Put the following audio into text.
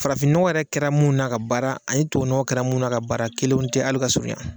Farafin nɔgɔ yɛrɛ kɛra mun na k'a baara ani tuwawu nɔgɔ kɛra mun na k'a baara kelenw tɛ hali ka surunya.